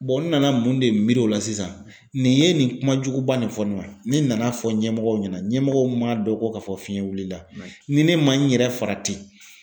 n nana mun de miiri o la sisan nin ye nin kuma juguba nin fɔ ne ma, ni n nan'a fɔ ɲɛmɔgɔw ɲɛna ɲɛmɔgɔw ma dɔn ko ka fɔ fiɲɛ wulila ni ne ma n yɛrɛ farati